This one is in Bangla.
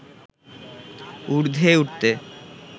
উর্ধ্বে উঠতে